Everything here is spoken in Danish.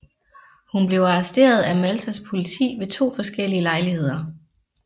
Hun blev arresteret af Maltas politi ved to forskellige lejligheder